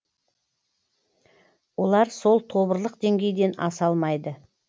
олар сол тобырлық деңгейден аса алмайды